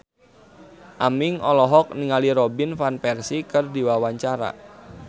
Aming olohok ningali Robin Van Persie keur diwawancara